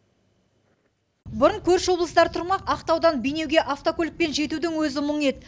бұрын көрші облыстар тұрмақ ақтаудан бейнеуге автокөлікпен жетудің өзі мұң еді